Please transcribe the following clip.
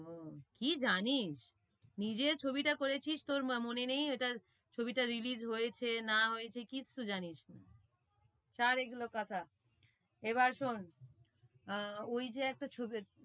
ও কি জানিস? নিজে ছবিটা করেছিস তোর মনে নেই ওটা ছবিটা release হয়েছে না হয়েছে কিচ্ছু জানিস না। ছাড় এগুলোর কথা এবার শোন আহ ওই যে একটা ছবি